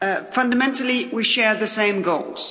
Fundamentally we share the same goals.